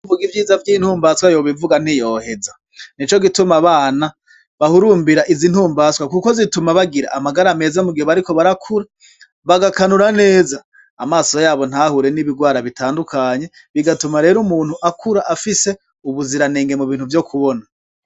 Uwovug'ivyiza vy'intumbaswa yobivuga ntiyoheza, nicogituma abana bahumbira iz'intumbaswa kuko zituma bagir'amagara meza mugihe bariko barakura ,bagakanura neza amaso yabo ntahure n'ibigwara bitandukanye bigatuma rero umuntu akura afise ubuziranenge mubintu vyo kubona.